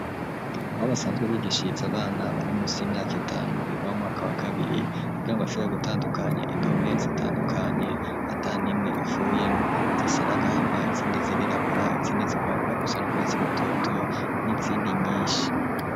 Aho basanzwe bigishiriza abana bari munsi y'imyaka itanu, biga mu mwaka wa kabiri, kugira ngo bashobore gutandukanya indome zitandukanye, ata n'imwe ivuyemwo; zisa n'agahama izindi zirirabura, izindi zigomba gusa n'urwatsi rutoto, n'izindi nyinshi.